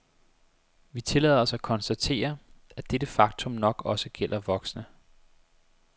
Vi tillader os at konstatere, at dette faktum nok også gælder voksne.